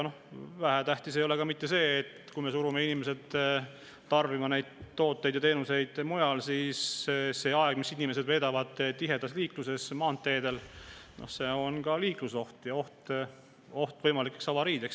Vähetähtis ei ole seegi, et kui me surume inimesed tarbima tooteid ja teenuseid mujal, siis sellel ajal, kui inimesed on tiheda liiklusega maanteedel, tekib ka liiklusoht ja avariioht.